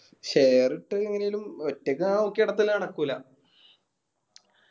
share ഇട്ട് എങ്ങനേലും ഒറ്റക്ക് ഞാൻ നോക്കിനടത്തല് നടക്കൂല്ല.